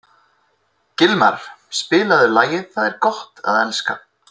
Gilmar, spilaðu lagið „Það er gott að elska“.